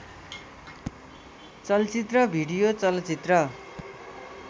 चलचित्र भिडियो चलचित्र